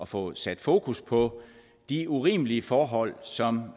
få sat fokus på de urimelige forhold som